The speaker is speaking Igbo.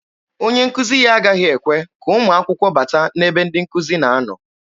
Onye nkuzi ya agaghị ekwe ka ụmụ akwụkwọ bata n'ebe ndị nkụzi na-anọ.